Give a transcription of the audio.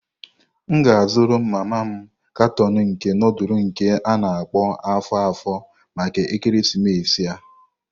M ga azuru mama m karton nke nudulu nke a-na akpo afo-afo maka ekeresimesi a.